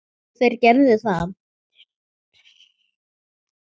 Já, þeir gerðu það.